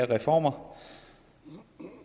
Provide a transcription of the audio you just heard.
reformer